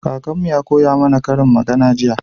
Kakanmu Ya koya mana ƙarin magana jiya